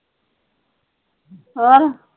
ਹੋਰ।